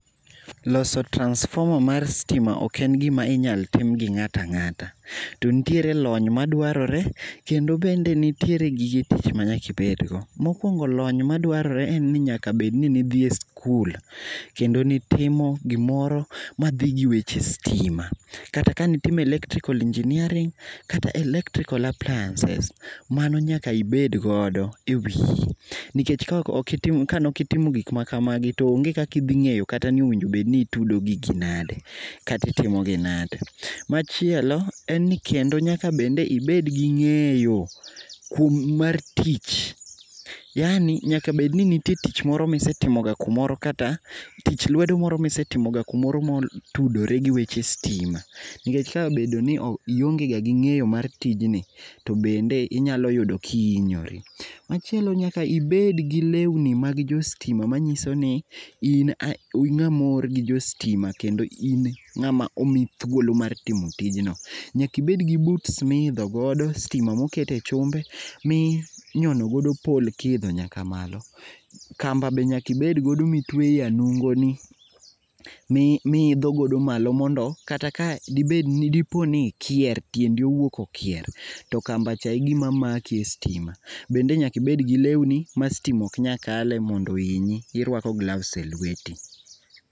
Loso transformer mar stima oken gima inyal tim gi ng'at ang'ata to nitiere lony madwarore kendo bende nitiere gige tich manyaka ibed go. Mokuongo lony madwarore en ni nyaka bedni nidhie skul kendo nitimo gimoro madhi gi weche stima. Kata kane itimo electrical engineering kata electrical appliances, mano nyaka ibed go e wiyi nikech kanok itimo gik makamagi to onge kaka ighi ngeyo kata kaka bedni itudo gigi nade kata itimo gi nade. Machielo en ni kendo nyaka ibed gi ngeyo kuom mar tich ,yaani nyaka bedni nitie tich moro misetimoga kumora, kata tich lwedo moro misetimo kumoro motudore gi weche stima nikech kabedoni ionge ga gi ngeyo mar tijni tobende inyalo yudo kihinyori. Machielo nyaka ibed gi lewni mag jo stim a manyisoni ni in ngama oor gi jo stima kendo in ngama omi thuolo mar timo tijno, nyaka ibed gi boots mar idho godo stima moket e chumbe, miinyono godo pole kiidho malo. Kamba be nyaka itwe e nungoni miidhgo godo malo mondo kata ka diponi ikier, tiendi owuok okier, to kamba cha e gima maki e stima. Bende nyaka ibed gi lewni ma stima ok nyal kale mondo oinyi, irwako gloves e lweti.